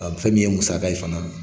A fɛn min ye musaka ye fana.